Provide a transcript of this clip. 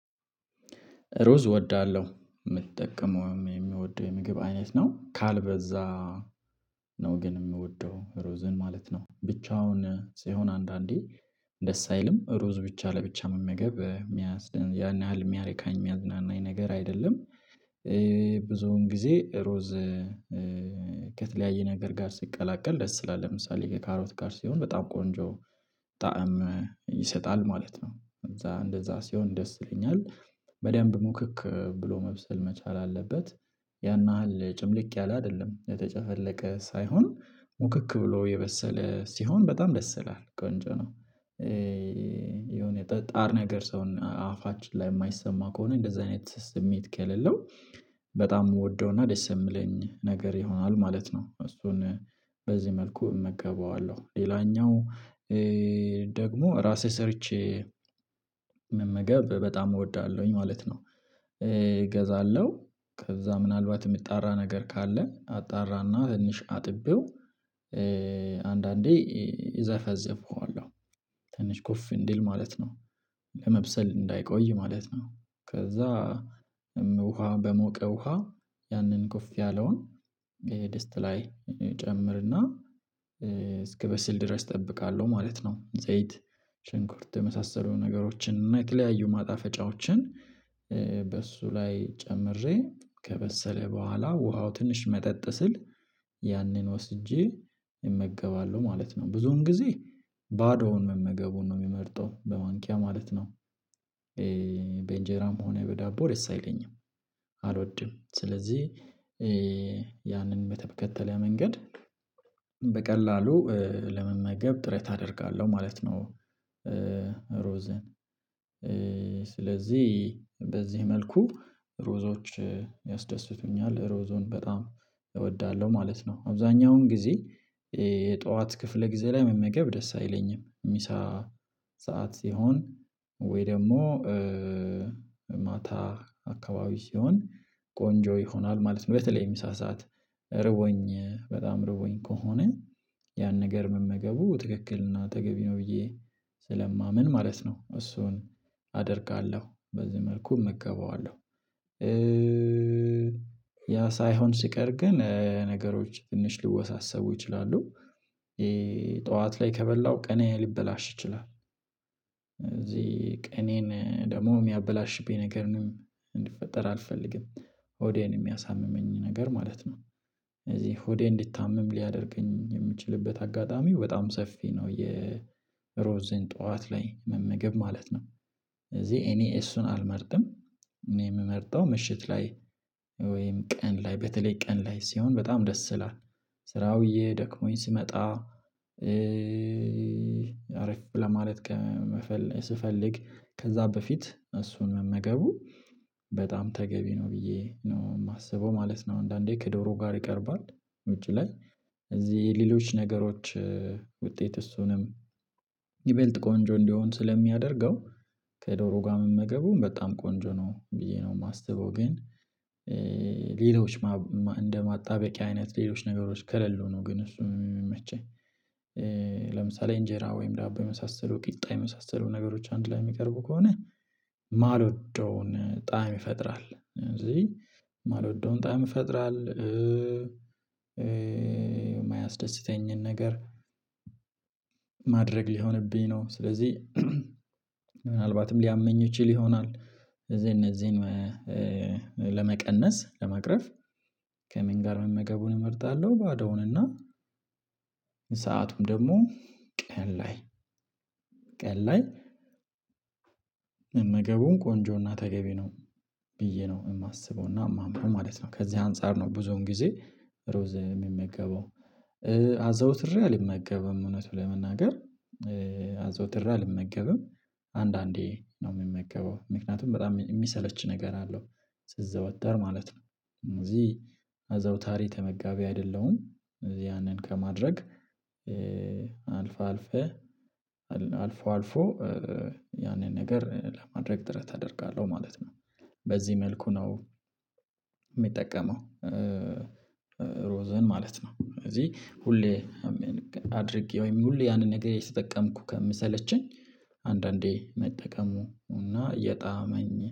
ሩዝ እወዳለሁ ምጠቀመው የሚምወደው የምግብ አይነት ነው ካልበዛ ነው ግን ምወደው ሩዝን ማለት ነው ብቻውን ሲሆን አንዳንዴ ደስ አይልም ሩዝ ብቻ ለብቻ መመገብ ሚያስ ያን ያህል የሚያረካኝ የሚያዝናናኝ ነገር አይደለም። ብዙውን ጊዜ ሩዝ ከተለያየ ነገር ጋር ሲቀላቀል ደስ ስላለ ለምሳሌ ከካሮት ጋር ሲሆን በጣም ቆንጆ ጣዕም ይሰጣል ማለት ነው። እዛ እንደዛ ሲሆን ደስ ይለኛል በደንብ ሙክክ ብሎ መብሰል መቻል አለበት ያን ናህል ጭምልቅ ያለ አደለም የተጨፈለቀ ሳይሆን ሙክክ ብሎ የበሰለ ሲሆን በጣም ደስ ይላል ቆንጆ ነው። የሆነ ጠ ጣር ነገር ሰውን አፋችን ላይ የማይሰማ ከሆነ እንደዛ አይነት ስሜት ከሌለው በጣም የምወደውና ደስ የምለኝ ነገር ይሆናል ማለት ነው። እሱን በዚህ መልኩ እመገባዋለሁ ሌላኛው ደግሞ ራሴ ሰርቼ መመገብ በጣም እወዳለሁኝ ማለት ነው። እገዛለሁ ከዛ ምናልባት የምጣራ ነገር ካለ አጣራና ትንሽ አጥቤው አንዳንዴ ይ እዘፈዘፈዋለሁ ትንሽ ኩፍ እንዲል ማለት ነው። ለመብሰል እንዳይቆይ ማለት ነው ከዛ እም ውሃ በሞቀ ውሃ ያንን ጎፍ ያለውን ድስት ላይ እጨምርና እስክበስል ድረስ እጠብቃለሁ ማለት ነው። ዘይት ሽንኩርት የመሳሰሉ ነገሮችን እና የተለያዩ ማጣፈጫዎችን በሱ ላይ ጨምሬ ከበሰለ በኋላ ውሃው ትንሽ መጠጥ ስል ያንን ወስጄ እመገባለሁ ማለት ነው። ብዙውን ጊዜ ባዶውን መመገቡን ነው ምመርጠው በማንኪያ ማለት ነው ኤ በእንጀራም ሆነ በዳቦ ደስ አይለኝም። አልወድም ስለዚህ ያንን በተከተለ መንገድ በቀላሉ ለመመገብ ጥረት አደርጋለሁ ማለት ነው። ሩዝን ስለዚህ በዚህ መልኩ ሩዞች ያስደስቱኛል ሩዝን በጣም እወዳለሁ ማለት ነው። አብዛኛውን ጊዜ የጠዋት ክፍለ ጊዜ ላይ መመገብ ደስ አይለኝም ምሳ ሰዓት ሲሆን ወይ ደሞ ማታ አካባቢ ሲሆን ቆንጆ ይሆናል ማለት ነው። በተለይ ምሳ ስዓት ርቦኝ በጣም ርቦኝ ከሆነ ያን ነገር መመገቡ ትክክል ና ተገቢ ነው ብዬ ስለማምን ማለት ነው። እሱን አደርጋለሁ በዚህ መልኩ እመገበዋለሁ። ያ ሳይሆን ሲቀር ግን ነገሮች ትንሽ ሊወሳሰቡ ይችላሉ ይ ጠዋት ላይ ከበላው ቀኔ ሊበላሽ ይችላል። እዚህ ቀኔን ደግሞ ሚያበላሽብኝ ነገር ምን እንዲፈጠር አልፈልግም ሆዴን የሚያሳምመኝ ነገር ማለት ነው። ስለዚህ ሆዴ እንዲታምም ሊያደርገኝ የምችልበት አጋጣሚ በጣም ሰፊ ነው የሮዝን ጠዋት ላይ መመገብ ማለት ነው። እዚህ እኔ እሱን አልመርጥም እኔ የምመርጠው ምሽት ላይ ወይም ቀን ላይ በተለይ ቀን ላይ ሲሆን በጣም ደስ ይላል። ስራው ውየ ደክሞኝ ስመጣ አረፍ ለማለት ከምመፈለስ ስፈልግ ከዛ በፊት እሱን መመገቡ በጣም ተገቢ ነው ብዬ ነው የማስበው ማለት ነው። አንዳንዴ ከዶሮ ጋር ይቀርባል ውጪ ላይ እዚህ ሌሎች ነገሮች ውጤት እሱንም ይበልጥ ቆንጆ እንዲሆን ስለሚያደርገው ከዶሮ ጋር መመገቡን በጣም ቆንጆ ነው ብዬ ነው የማስበው ግን ሌሎች ማው ማ እንደ ማጣበቂያ አይነት ሌሎች ነገሮች ከሌሉ ነው። ግን እሱ ሚመቸይ ለምሳሌ እንጀራ ወይም ዳቦ የመሳሰሉ ቂጣ የመሳሰሉ ነገሮች አንድ ላይ ሚቀርቡ ከሆነ ማልወደውን ጣዕም ይፈጥራል እነዚህ ማልወደውን ጣዕም ይፈጥራል። የማያስደስተኝን ነገር ማድረግ ሊሆንብኝ ነው ስለዚህ ምናልባትም ሊያመኝ ይችል ይሆናል። እዚህ እነዚህን ለመቀነስ ለመቅረፍ ከምን ጋር መመገቡን እመርጣለሁ ባዶውን እና ሰአቱም ደሞ ቀን ላይ ቀን ላይ መገቡን ቆንጆና ተገቢ ነው ብዬ ነው የማስበውና የማምነው ማለት ነው። ከዚህ አንፃር ነው ብዙውን ጊዜ ሩዝ ምመገበው አዘውትሬ አልመገበም እውነቱ ለመናገር አዘውትራ አልመገብም። አንዳንዴ ነው ምመገበው ምክንያቱም በጣም እሚሰለች ነገር አለው ሲዘወተር ማለት ነው እነዚ አዘውታሪ ተመጋቢ አይደለሁም። ያነን ከማድረግ አልፋ አልፈህ አድ አልፎ አልፎ ያንን ነገር ለማድረግ ጥረት አደርጋለሁ ማለት ነው። በዚህ መልኩ ነው ምጠቀመው ሮዘን ማለት ነው። ስለዚህ ሁሌ አድርጌ ወይም ሁሌ ያንን ነገር የተጠቀምኩ ከምሰለቸኝ አንዳንዴ መጠቀሙ እና የጣመኝ